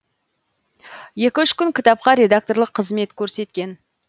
екі үш кітапқа редакторлық қызмет көрсеткен